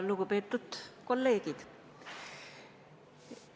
Lugupeetud kolleegid!